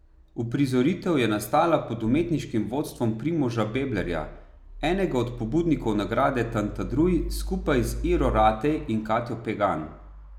Uprizoritev je nastala pod umetniškim vodstvom Primoža Beblerja, enega od pobudnikov nagrade Tantadruj skupaj z Iro Ratej in Katjo Pegan.